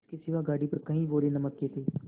इसके सिवा गाड़ी पर कई बोरे नमक के थे